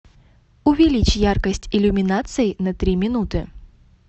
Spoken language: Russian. увеличь яркость иллюминации на три минуты